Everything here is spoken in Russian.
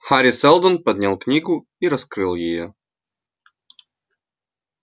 хари сэлдон поднял книгу и раскрыл её